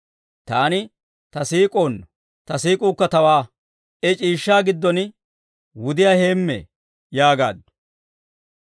Taani ta siik'uwaanno; ta siik'uukka tawaa. I c'iishshaa giddon wudiyaa heemmee yaagaaddu.